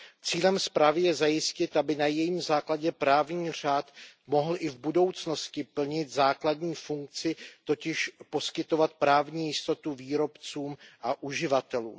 Cílem zprávy je zajistit, aby na jejím základě právní řád mohl i v budoucnosti plnit základní funkci, totiž poskytovat právní jistotu výrobcům a uživatelům.